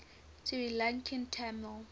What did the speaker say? sri lankan tamil